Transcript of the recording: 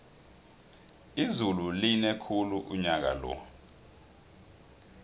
izulu line khulu unyakalo